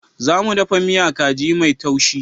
Za mu ɗafa miya kaji mai taushi.